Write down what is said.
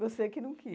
Você que não quis.